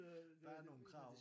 Der er nogle krav